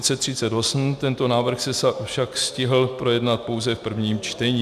Tento návrh se však stihl projednat pouze v prvním čtení.